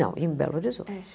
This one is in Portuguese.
Não, em Belo Horizonte. É